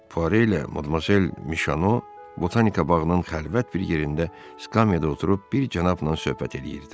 Puare ilə Modmazel Mişano Botanika bağının xəlvət bir yerində skamyada oturub bir cənabla söhbət eləyirdilər.